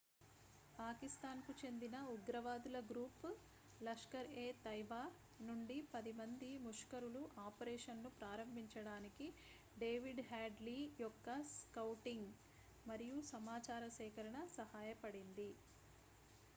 పాకిస్తాన్కు చెందిన ఉగ్రవాదుల గ్రూప్ లష్కర్-ఎ-తైబా నుండి 10 మంది ముష్కరులు ఆపరేషన్ను ప్రారంభించడానికి david headley యొక్క స్కౌటింగ్ మరియు సమాచార సేకరణ సహాయపడింది